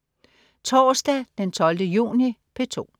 Torsdag den 12. juni - P2: